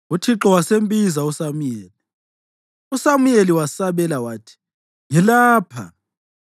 Uthixo wasembiza uSamuyeli. USamuyeli wasabela wathi, “Ngilapha.”